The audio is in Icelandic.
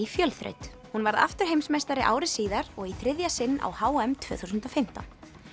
fjölþraut hún varð aftur heimsmeistari ári síðar og í þriðja sinn á h m tvö þúsund og fimmtán